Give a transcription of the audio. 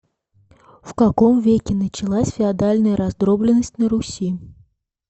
в каком веке началась феодальная раздробленность на руси